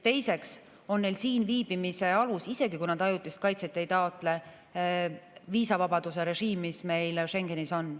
Teiseks, neil on siinviibimise alus, isegi kui nad ajutist kaitset ei taotle, viisavabaduse režiim, mis meil Schengenis on.